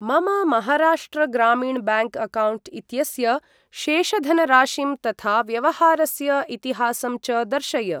मम महाराष्ट्र ग्रामीण bank account इत्यस्य शेषधनराशिं तथा व्यवहारस्य इतिहासं च दर्शय।